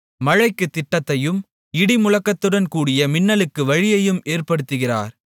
மழைக்குத் திட்டத்தையும் இடிமுழக்கத்துடன் கூடிய மின்னலுக்கு வழியையும் ஏற்படுத்துகிறார்